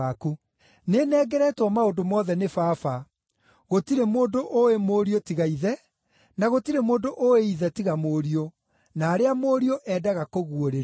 “Nĩnengeretwo maũndũ mothe nĩ Baba. Gũtirĩ mũndũ ũũĩ Mũriũ tiga Ithe, na gũtirĩ mũndũ ũũĩ Ithe tiga Mũriũ, na arĩa Mũriũ, endaga kũguũrĩria.